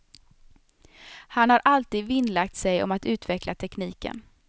Han har alltid vinnlagt sig om att utveckla tekniken.